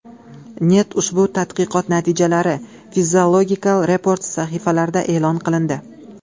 net” Ushbu tadqiqot natijalari Physiological Reports sahifalarida e’lon qilindi.